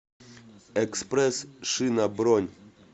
экспресс шина бронь